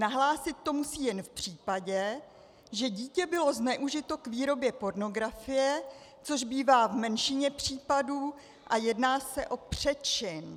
Nahlásit to musí jen v případě, že dítě bylo zneužito k výrobě pornografie, což bývá v menšině případů a jedná se o přečin.